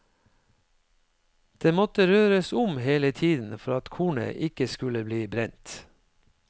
Det måtte røres om hele tiden for at kornet ikke skulle bli brent.